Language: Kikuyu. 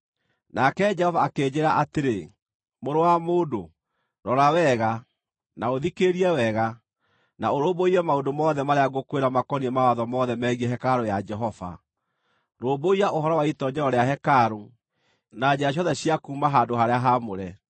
Nake Jehova akĩnjĩĩra atĩrĩ, “Mũrũ wa mũndũ, rora wega, na ũthikĩrĩrie wega, na ũrũmbũiye maũndũ mothe marĩa ngũkwĩra makoniĩ mawatho mothe megiĩ hekarũ ya Jehova. Rũmbũiya ũhoro wa itoonyero rĩa hekarũ, na njĩra ciothe cia kuuma handũ-harĩa-haamũre.